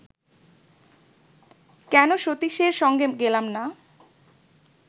কেন সতীশের সঙ্গে গেলাম না